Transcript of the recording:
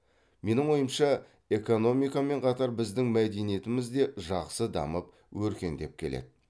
менің ойымша экономикамен қатар біздің мәдениетіміз де жақсы дамып өркендеп келеді